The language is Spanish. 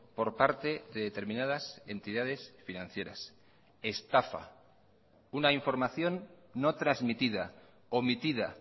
por parte de determinadas entidades financieras estafa una información no transmitida omitida